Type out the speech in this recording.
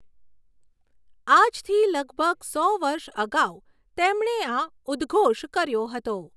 આજથી લગભગ સો વર્ષ અગાઉ તેમણે આ ઉદ્ઘોષ કર્યો હતો.